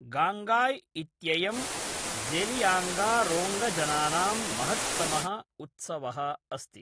गान्ङ्गाय् इत्ययं ज़ेलियाङ्गरोङ्गजनानां महत्तमः उत्सवः अस्ति।